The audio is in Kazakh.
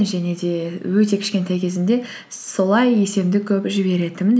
және де өте кішкентай кезімде солай есемді көп жіберетінмін